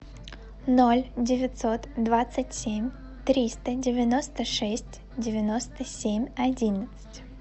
ноль девятьсот двадцать семь триста девяносто шесть девяносто семь одиннадцать